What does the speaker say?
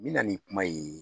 Mina nin kuma ye.